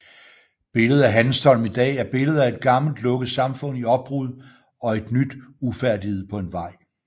Billedet af Hanstholm i dag er billedet af et gammelt lukket samfund i opbrud og et nyt ufærdigt på vej